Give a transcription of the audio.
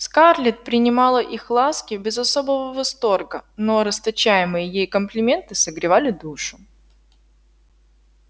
скарлетт принимала их ласки без особого восторга но расточаемые ей комплименты согревали душу